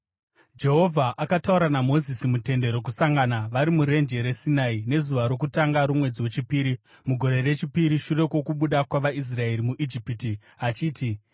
Jehovha akataura naMozisi muTende Rokusangana, vari murenje reSinai, nezuva rokutanga romwedzi wechipiri, mugore rechipiri shure kwokubuda kwavaIsraeri muIjipiti, achiti,